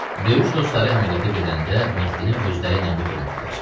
Döyüş dostları əməliyyata gedəndə Mehdini özləri ilə götürmürdülər.